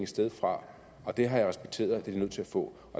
sted fra og det har jeg respekteret at de er nødt til at få